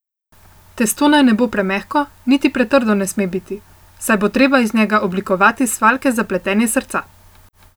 Testo naj ne bo premehko, niti pretrdo ne sme biti, saj bo treba iz njega oblikovati svaljke za pletenje srca.